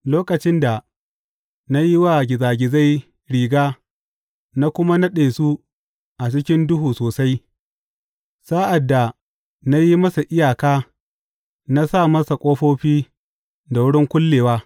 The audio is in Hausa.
Lokacin da na yi wa gizagizai riga na kuma naɗe su a cikin duhu sosai, sa’ad da na yi masa iyaka na sa masa ƙofofi da wurin kullewa.